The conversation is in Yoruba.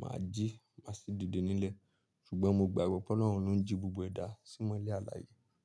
màá jí, máa sì dìde nílẹ̀. Ṣùgbọ́n mo gbagbọ̀ pé Ọlọ́run ló ń jí gbogbo ẹ̀dá símọlẹ alààyè.